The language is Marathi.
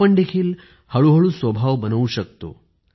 आपण देखील हळूहळू स्वभाव बनवू शकतो